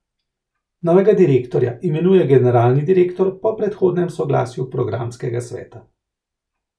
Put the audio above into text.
Novega direktorja imenuje generalni direktor po predhodnem soglasju programskega sveta.